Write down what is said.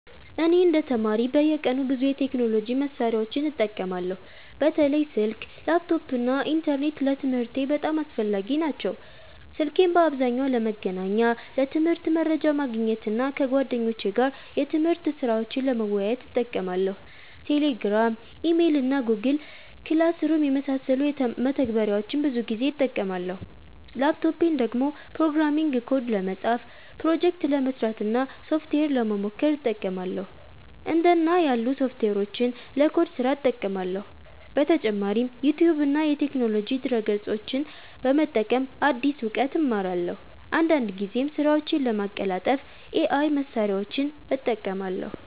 እኔ እንደ ተማሪ በየቀኑ ብዙ የቴክኖሎጂ መሳሪያዎችን እጠቀማለሁ። በተለይ ስልክ፣ ላፕቶፕ እና ኢንተርኔት ለትምህርቴ በጣም አስፈላጊ ናቸው። ስልኬን በአብዛኛው ለመገናኛ፣ ለትምህርት መረጃ ማግኘት እና ከጓደኞቼ ጋር የትምህርት ስራዎችን ለመወያየት እጠቀማለሁ። Telegram፣ Email እና Google Classroom የመሳሰሉ መተግበሪያዎችን ብዙ ጊዜ እጠቀማለሁ። ላፕቶፔን ደግሞ ፕሮግራሚንግ ኮድ ለመጻፍ፣ ፕሮጀክት ለመስራት እና ሶፍትዌር ለመሞከር እጠቀማለሁ። እንደ እና ያሉ ሶፍትዌሮችን ለኮድ ስራ እጠቀማለሁ። በተጨማሪም ዩቲዩብ እና የቴክኖሎጂ ድረ-ገጾችን በመጠቀም አዲስ እውቀት እማራለሁ። አንዳንድ ጊዜም ስራዎቼን ለማቀላጠፍ AI መሳሪያዎችን እጠቀማለሁ።